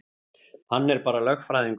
Hann er bara lögfræðingur.